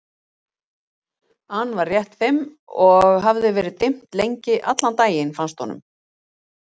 an var rétt fimm og það hafði verið dimmt lengi, allan daginn, fannst honum.